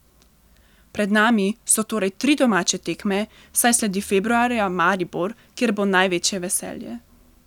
Pred nami so torej tri domače tekme, saj sledi februarja Maribor, kjer bo največje veselje.